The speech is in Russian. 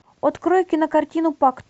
открой кинокартину пакт